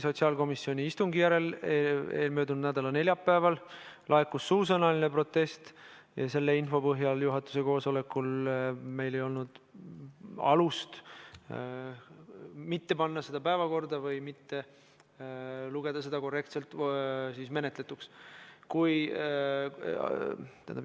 Sotsiaalkomisjoni istungi järel möödunud nädala neljapäeval laekus suusõnaline protest ja selle info põhjal ei olnud meil juhatuse koosolekul alust mitte panna seda eelnõu päevakorda või mitte lugeda seda korrektselt menetletuks.